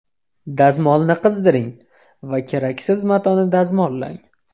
Dazmolni qizdiring va keraksiz matoni dazmollang.